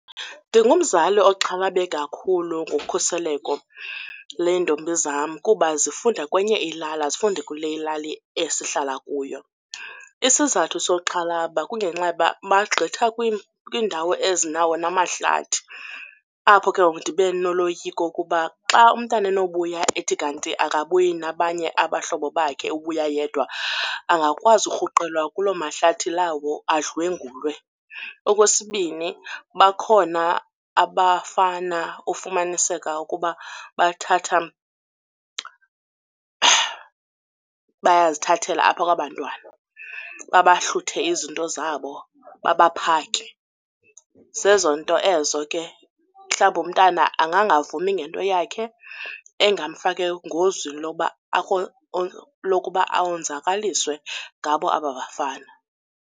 Ndingumzali oxhalabe kakhulu ngokhuseleko leentombi zam kuba zifunda kwenye ilali, azifundi kule ilali esihlala kuyo. Isizathu soxhalaba kungenxa yoba bagqitha kwiindawo ezinawo namahlathi. Apho ke ngoku ndibe noloyiko kuba xa umntana enobuya ethi kanti akabuyi nabanye abahlobo bakhe ubuya yedwa angakwazi urhuqelwa kuloo mahlathi lawo adlwengulwe. Okwesibini, bakhona abafana ufumaniseka ukuba bathatha bayazithathela apha kwabantwana babahluthe izinto zabo babaphake. Zezo nto ezo ke mhlawumbi umntana angangavumi ngento yakhe engamfaka engozini lokuba onzakaliswe ngabo aba bafana.